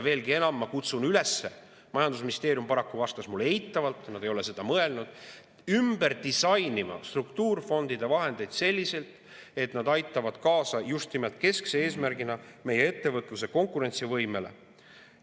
Veelgi enam, ma kutsun üles – majandusministeerium paraku vastas mulle eitavalt, nad ei ole sellele mõelnud – ümber disainima struktuurifondide vahendeid selliselt, et nad aitavad kaasa just nimelt keskse eesmärgina meie ettevõtluse konkurentsivõimele.